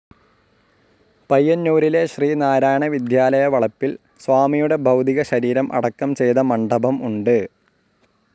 പയ്യന്നൂരിലെ ശ്രീനാരായണ വിദ്യാലയവളപ്പിൽ സ്വാമിയുടെ ഭൗതിക ശരീരം അടക്കം ചെയ്ത മണ്ഡപം ഉണ്ട്.